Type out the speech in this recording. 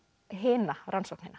hina rannsóknina